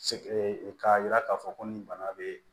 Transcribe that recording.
k'a yira k'a fɔ ko nin bana bɛ